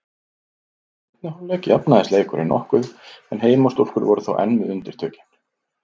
Í seinni hálfleik jafnaðist leikurinn nokkuð en heimastúlkur voru þó enn með undirtökin.